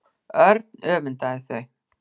Örn öfundaði þau.